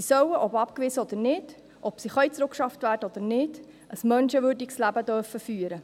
Sie sollen, ob abgewiesen oder nicht, ob sie zurückgeschafft werden können oder nicht, ein menschenwürdiges Leben führen dürfen.